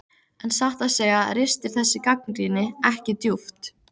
En satt að segja ristir þessi gagnrýni ekki djúpt.